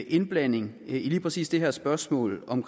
indblanding i lige præcis det her spørgsmål om